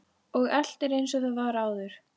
Og allt er einsog það var áður.